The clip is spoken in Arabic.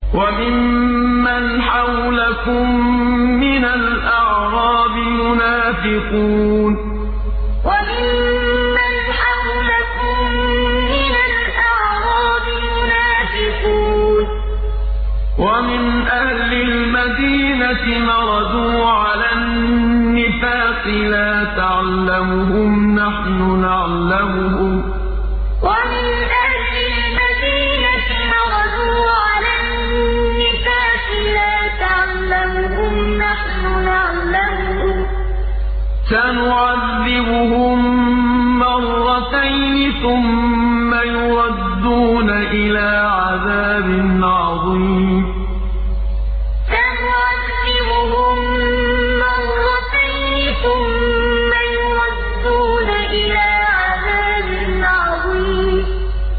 وَمِمَّنْ حَوْلَكُم مِّنَ الْأَعْرَابِ مُنَافِقُونَ ۖ وَمِنْ أَهْلِ الْمَدِينَةِ ۖ مَرَدُوا عَلَى النِّفَاقِ لَا تَعْلَمُهُمْ ۖ نَحْنُ نَعْلَمُهُمْ ۚ سَنُعَذِّبُهُم مَّرَّتَيْنِ ثُمَّ يُرَدُّونَ إِلَىٰ عَذَابٍ عَظِيمٍ وَمِمَّنْ حَوْلَكُم مِّنَ الْأَعْرَابِ مُنَافِقُونَ ۖ وَمِنْ أَهْلِ الْمَدِينَةِ ۖ مَرَدُوا عَلَى النِّفَاقِ لَا تَعْلَمُهُمْ ۖ نَحْنُ نَعْلَمُهُمْ ۚ سَنُعَذِّبُهُم مَّرَّتَيْنِ ثُمَّ يُرَدُّونَ إِلَىٰ عَذَابٍ عَظِيمٍ